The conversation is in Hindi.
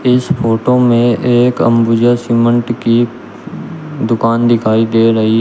इस फोटो में एक अंबुजा सीमेंट की दुकान दिखाई दे रही है।